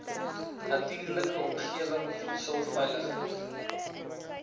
natuurlike omgewing voedselveiligheid